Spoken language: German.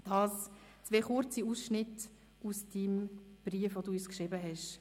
» Dies zwei kurze Passagen aus dem Brief, den du uns geschrieben hast.